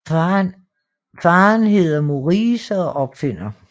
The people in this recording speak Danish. Faderen hedder Maurice og er opfinder